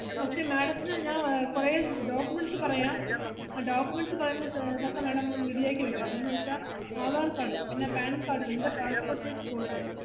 പക്ഷെ madam ത്തിന് ഞാൻ ആഹ് കൊറേ documents പറയാം documents ഇ പറയുന്നത് ഇതൊക്കെ madam ഒന്ന് ready ആക്കി വെക്കണം, എന്നുവെച്ചാ ആധാർ കാർഡ്, പിന്ന പാൻകാർഡ്, രണ്ട് passport size photo